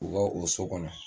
U ka o so kɔnɔ